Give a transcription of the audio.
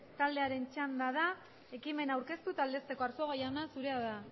taldearen txanda da ekimena aurkeztu eta aldezteko arzuaga jauna zurea da